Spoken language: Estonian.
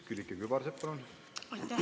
Külliki Kübarsepp, palun!